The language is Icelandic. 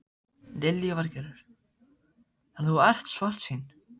Lillý Valgerður: Þannig að þú ert svartsýn?